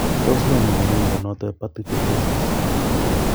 Tos nee nekonu mnyondo noton hepatic fibrosis ?